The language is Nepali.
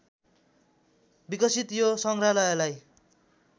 विकसित यो सङ्ग्रहालयलाई